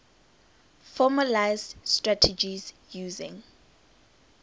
formalised strategies using